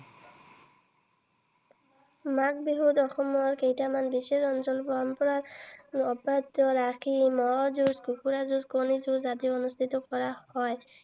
মাঘ বিহুত অসমৰ কেইটামান বিশেষ অঞ্চলত পৰম্পৰা অব্যাহত ৰাখি মঁহ যুজ, কুকুৰা যুজ, কণী যুজ আদি অনুষ্ঠিত কৰা হয়।